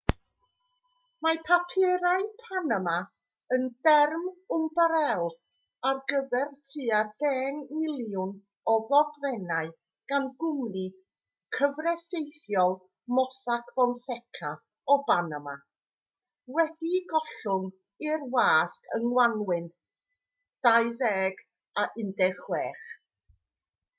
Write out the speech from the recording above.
mae papurau panama yn derm ymbarél ar gyfer tua deng miliwn o ddogfennau gan gwmni cyfreithiol mossack fonseca o banama wedi'u gollwng i'r wasg yng ngwanwyn 2016